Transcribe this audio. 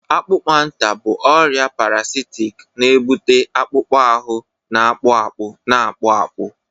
Akpụkpanta bụ ọrịa parasitic na-ebute akpụkpọ ahụ na-akpụ akpụ, na-akpụ akpụ